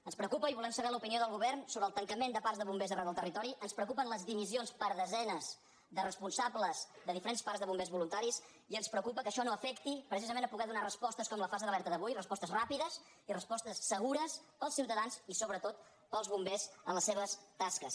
ens preocupa i volem saber l’opinió del govern sobre el tancament de parcs de bombers arreu del territori ens preocupen les dimissions per desenes de responsables de diferents parcs de bombers voluntaris i ens preocupa que això no afecti precisament a poder donar respostes com la fase d’alerta d’avui respostes ràpides i respostes segures per als ciutadans i sobretot per als bombers en les seves tasques